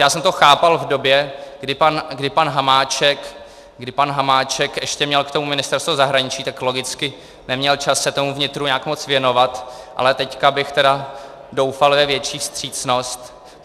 Já jsem to chápal v době, kdy pan Hamáček ještě měl k tomu Ministerstvo zahraničí, tak logicky neměl čas se tomu vnitru nějak moc věnovat, ale teď bych teda doufal ve větší vstřícnost.